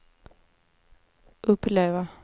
uppleva